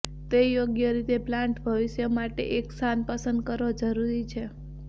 તે યોગ્ય રીતે પ્લાન્ટ ભવિષ્ય માટે એક સ્થાન પસંદ કરો જરૂરી છે